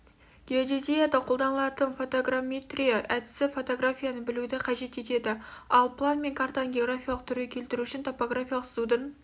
геодезияда қолданылатын фотограмметрия әдісі фотографияны білуді қажет етеді ал план мен картаны графикалық түрге келтіру үшін топографиялық сызудың